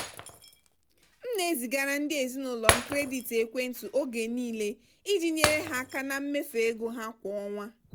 m na-ezigara ndị ezinụlọ m kredit ekwentị oge niile iji nyere ha aka na mmefu ego ha kwa ọnwa.